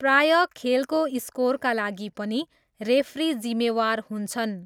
प्राय खेलको स्कोरका लागि पनि रेफ्री जिम्मेवार हुन्छन्।